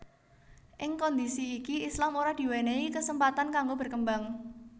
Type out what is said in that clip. Ing kondisi iki Islam ora diwenehi kesempatan kanggo berkembang